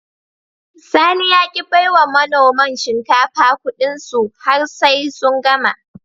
Sani ya ki bai wa manoman shinkafa Ƙudinsu har sai sun gama